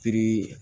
Pikiri